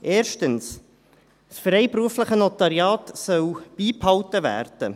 Erstens, das freiberufliche Notariat soll beibehalten werden;